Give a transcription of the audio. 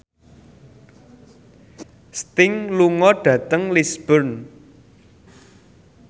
Sting lunga dhateng Lisburn